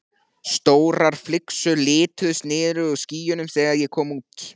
Stórar flygsur liðuðust niður úr skýjunum þegar ég kom út.